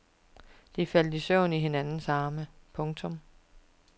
De faldt i søvn i hinandens arme. punktum